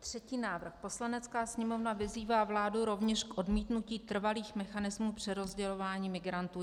Třetí návrh: "Poslanecká sněmovna vyzývá vládu rovněž k odmítnutí trvalých mechanismů přerozdělování migrantů."